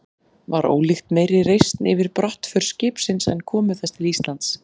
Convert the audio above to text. Var ólíkt meiri reisn yfir brottför skipsins en komu þess til Íslands.